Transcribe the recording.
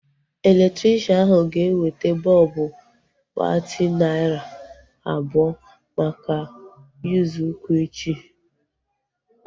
Elektrikshan ahu ga-eweta bọlbụ watti narị abụọ maka usekwu echi